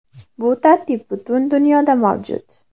Bu tartib butun dunyoda mavjud.